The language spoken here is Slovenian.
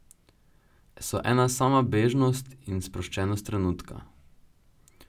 So ena sama bežnost in sproščenost trenutka.